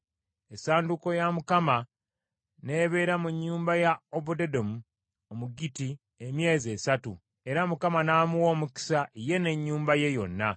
Essanduuko ya Mukama n’ebeera mu nnyumba ya Obededomu Omugitti emyezi esatu, era Mukama n’amuwa omukisa ye n’ennyumba ye yonna.